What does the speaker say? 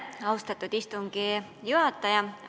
Austatud istungi juhataja!